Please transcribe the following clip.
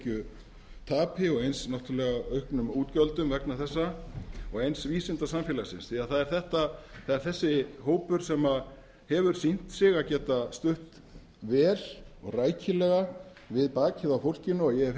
fyrir verulegu tekjutapi og eins auknum útgjöldum vegna þessa og eins vísindasamfélagsins því að það er þessi hópur sem hefur sýnt sig að geta stutt vel og rækilega við bakið á fólkinu og ég hef